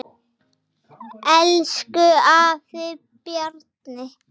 Elsku afi Bjarni.